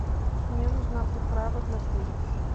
мне нужна приправа для курицы